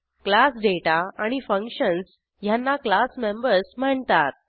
class data आणि functions ह्यांना class members म्हणतात